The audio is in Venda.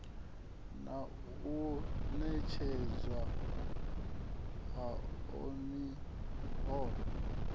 na u netshedzwa hao miholo